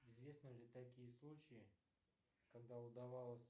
известны ли такие случаи когда удавалось